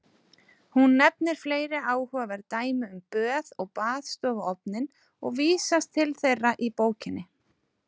Hún nefnir fleiri áhugaverð dæmi um böð og baðstofuofninn og vísast til þeirra í bókinni.